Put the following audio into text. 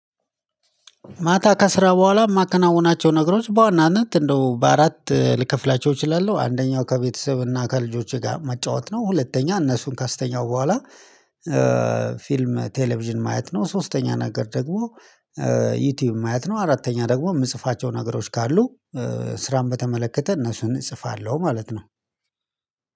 ማታ ከስራ በኋላ የማከናውናቸው ነገሮች በዋናነት እንደው በአራት ልከፍላቸው እችላለሁ አንደኛው ከቤተሰብ እና ከልጆቼ ጋር መጫወት ነው ሁለተኛ እነሱን ካስተኛሁ በኋላ። ፊልም ቴሌቪዥን ማየት ነው። ሶስተኛ ነገር ደግሞ ዩቲዩብ ማየት ነው። አራተኛ ደግሞ የምጽፋቸው ነገሮች ካሉ ስራን በተመለከተ እነሱን እጽፋለሁ ማለት ነው።